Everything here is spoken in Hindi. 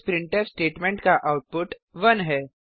इस प्रिंटफ स्टेटमेंट का आउटपुट 1 है